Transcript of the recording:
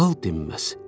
Lal dinməz.